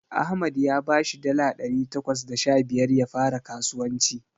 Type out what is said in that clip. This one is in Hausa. Ahmad ya bashi dala ɗari takwas da sha biyar ya fara skasuwanci.